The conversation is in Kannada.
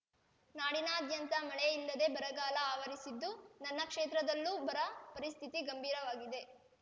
ನಾಡಿನಾದ್ಯಂತ ಮಳೆಯಿಲ್ಲದೆ ಬರಗಾಲ ಆವರಿಸಿದ್ದು ನನ್ನ ಕ್ಷೇತ್ರದಲ್ಲೂ ಬರ ಪರಿಸ್ಥಿತಿ ಗಂಭೀರವಾಗಿದೆ